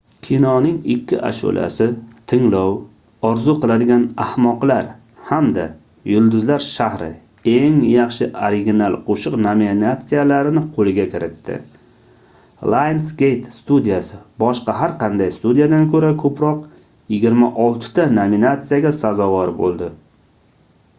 kinoning ikki ashulasi — tinglov orzu qiladigan ahmoqlar hamda yulduzlar shahri eng yaxshi original qo'shiq nominatsiyalarini qo'lga kiritdi. lionsgate studiyasi boshqa har qanday studiyadan ko'ra ko'proq – 26 ta nominatsiyaga sazovor bo'ldi